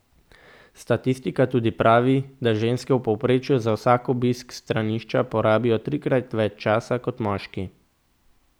Statistika tudi pravi, da ženske v povprečju za vsak obisk stranišča porabijo trikrat več časa kot moški.